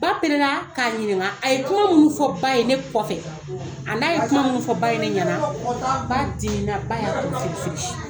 Ba pɛrɛna k'a ɲininka a ye kuma munnu fɔ ba ye ne kɔfɛ, a n'a ye kuma min fɔ ba ye ne ɲɛna, ba dimina ba y'a kun firifiri.